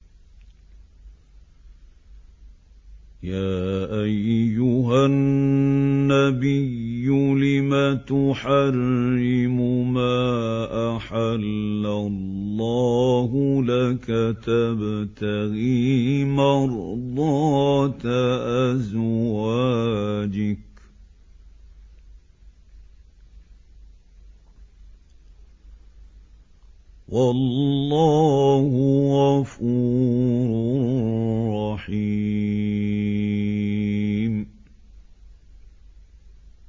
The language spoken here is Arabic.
يَا أَيُّهَا النَّبِيُّ لِمَ تُحَرِّمُ مَا أَحَلَّ اللَّهُ لَكَ ۖ تَبْتَغِي مَرْضَاتَ أَزْوَاجِكَ ۚ وَاللَّهُ غَفُورٌ رَّحِيمٌ